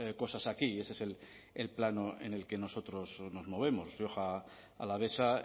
cosas aquí y ese es el plano en el que nosotros nos movemos rioja alavesa